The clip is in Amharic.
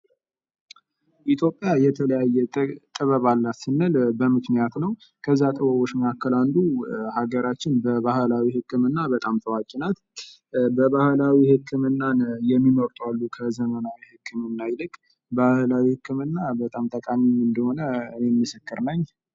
ኢትዮጵያ የተለያየ ጥበብ አላት ስንል በምክንያት ነው ከዚያ ጥበቦች መካከ አንዱ ሀገራችን በባህላዊ ህክምና በጣም ታዋቂ ናት። ባህላዊ ህክምናን የሚመርጡ አሉ ከዘመናዊ ይልቅ። ባህላዊ ህክምና በጣም ጠቃሚእንደሆነ እኔ ምስክር ነኝ።